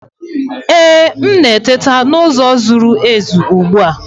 Ee, m na-eteta n'ụzọ zuru ezu ugbu a.